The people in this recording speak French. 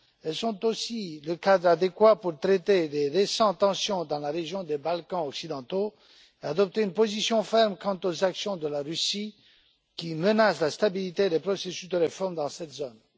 Elles sont aussi le cadre adéquat pour traiter dles récentes tensions dans la région des Balkans occidentaux et adopter une position ferme quant face aux actions de la Russie qui menacent la stabilité des processus de réforme dans cette zone.